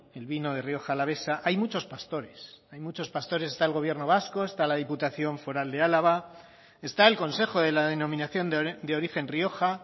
el vino de rioja alavesa hay muchos pastores hay muchos pastores está el gobierno vasco está la diputación foral de álava está el consejo de la denominación de origen rioja